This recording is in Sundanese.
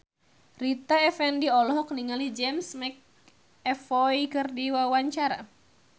Rita Effendy olohok ningali James McAvoy keur diwawancara